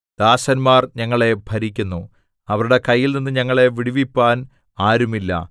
ദാസന്മാർ ഞങ്ങളെ ഭരിക്കുന്നു അവരുടെ കയ്യിൽനിന്ന് ഞങ്ങളെ വിടുവിപ്പാൻ ആരുമില്ല